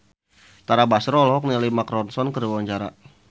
Tara Basro olohok ningali Mark Ronson keur diwawancara